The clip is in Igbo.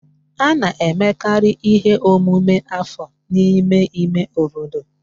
A na-emekarị ihe omume afọ n'ime ime obodo